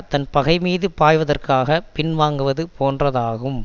தன் பகை மீது பாய்வதற்காகப் பின்வாங்குவது போன்றதாகும்